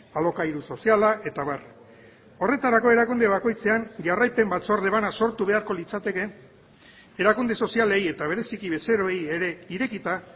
alokairu soziala eta abar horretarako erakunde bakoitzean jarraipen batzorde bana sortu beharko litzateke erakunde sozialei eta bereziki bezeroei ere irekita